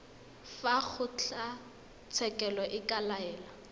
fa kgotlatshekelo e ka laela